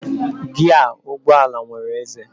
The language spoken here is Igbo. Giaa ụgbọala nwere ézé.